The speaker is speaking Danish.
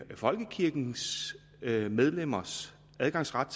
folkekirkens medlemmers adgangsret